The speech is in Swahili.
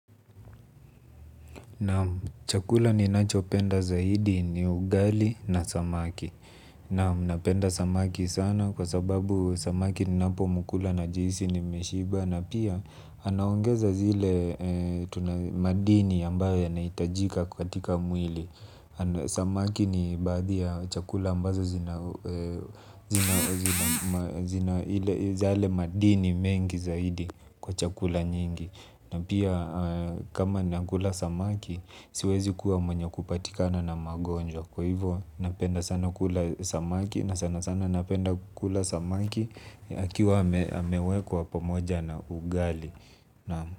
Naam, chakula ninacho penda zaidi ni ugali na samaki. Naam, napenda samaki sana kwa sababu samaki ninapo mukula najisi nimeshiba. Na pia, anaongeza zile madini ambayo yanahitajika katika mwili. Samaki ni baadhi ya chakula ambazo zina zile madini mengi zaidi kwa chakula nyingi. Na pia kama nakula samaki siwezi kuwa mwenye kupatikana na magonjwa. Kwa hivyo napenda sana kula samaki na sana sana napenda kula samaki. Akiwa amewekwa pomoja na ugali.